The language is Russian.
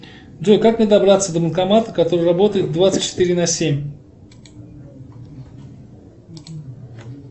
джой как мне добраться до банкомата который работает двадцать четыре на семь